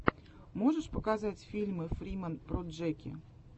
можешь показать фильмы фриман проджэки